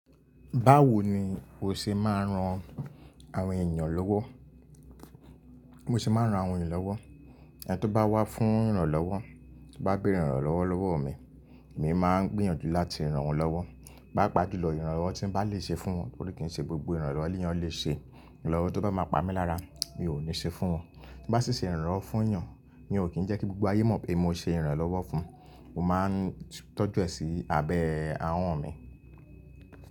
Báwo ni o ṣe máa ń ran àwọn ènìyàn lọ́wọ́? Mo ṣe máa ń ran àwọn ènìyàn lọ́wọ́. Ẹni tó bá wá fún ìrànlọ́wọ́, tó bá béèrè ìrànlọ́wọ́ lọ́wọ́ mi, èmi máa ń gbìyànjú láti rán wọn lọ́wọ́. Pápa juló, ìrànlọ́wọ́ tí mo bá lè ṣe fún wọn, nítorí kì í ṣe gbogbo ìrànlọ́wọ́ éyàn lè ṣe. Ìrànlọ́wọ́ tó bá máa pamí lára mi ò ní ṣe fún wọn. Tí mo bá ṣì ṣe ìrànlọ́wọ́ fún ènìyàn, mi ò kín ń jẹ́ kí gbogbo ayé mọ̀ pé mo ṣe ìrànlọ́wọ́ fún un. Mo máa ń tọ́jú ẹ̀ sí abẹ́ àwọn mi.